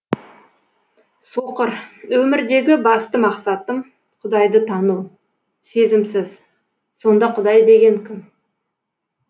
соқыр өмірдегі басты мақсатым құдайды тану сезімсіз сонда құдай деген кім